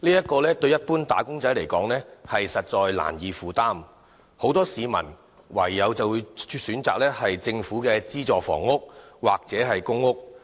這對一般"打工仔"而言實在難以負擔，因此很多市民唯有選擇政府的資助房屋或公共租住房屋。